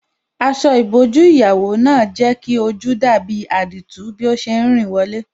Aṣọ ìbòjú ìyàwó náà jẹ́ kí ojú dàbí àdììtú bí ó ṣe rìn wọlé.